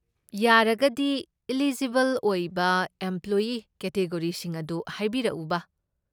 ꯌꯥꯔꯒꯗꯤ, ꯑꯦꯂꯤꯖꯤꯕꯜ ꯑꯣꯏꯕ ꯑꯦꯝꯄ꯭ꯂꯣꯌꯤ ꯀꯦꯇꯦꯒꯣꯔꯤꯁꯤꯡ ꯑꯗꯨ ꯍꯥꯏꯕꯤꯔꯛꯎꯕꯥ?